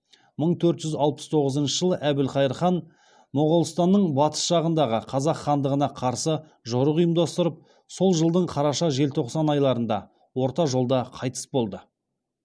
мың төрт жүз алпыс тоғызыншы жылы әбілқайыр хан моғолстанның батыс жағындағы қазақ хандығына қарсы жорық ұйымдастырып сол жылдың қараша желтоқсан айларында орта жолда қайтыс болды